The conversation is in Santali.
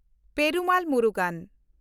ᱯᱮᱨᱩᱢᱟᱞ ᱢᱩᱨᱩᱜᱟᱱ